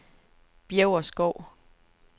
Bjæverskov